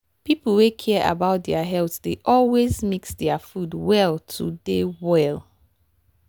people wey care about their health dey always mix their food well to dey well.